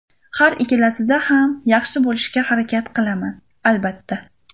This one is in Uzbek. Har ikkalasida ham yaxshi bo‘lishga harakat qilaman, albatta.